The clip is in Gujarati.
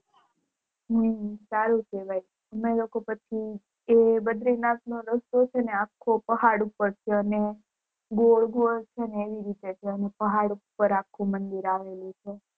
હમ સારું કેવાય અમે લોકો પછી એ બદ્રીનાથ નો રસ્તો છે અ અખો પહાડ ઉપર છે અને ગોળ ગોળ છે એવી રીતે છે પહાડ પર આખું મંદિર આવેલું છે